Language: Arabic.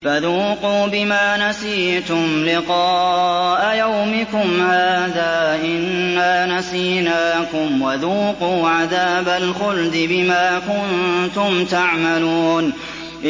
فَذُوقُوا بِمَا نَسِيتُمْ لِقَاءَ يَوْمِكُمْ هَٰذَا إِنَّا نَسِينَاكُمْ ۖ وَذُوقُوا عَذَابَ الْخُلْدِ بِمَا كُنتُمْ تَعْمَلُونَ